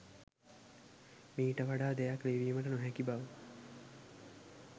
මීට වඩා දෙයක් ලිවීමට නොහැකි බව